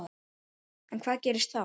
En hvað gerist þá?